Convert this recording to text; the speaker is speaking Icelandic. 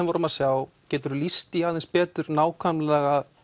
vorum að sjá geturðu lýst því aðeins betur